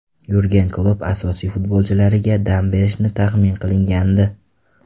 Yurgen Klopp asosiy futbolchilariga dam berishi tahmin qilingandi.